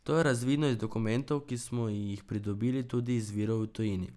To je razvidno iz dokumentov, ki smo jih pridobili tudi iz virov v tujini.